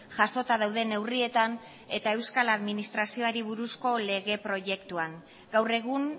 jasota dauden neurrietan eta euskal administrazioari buruzko lege proiektuan gaur egun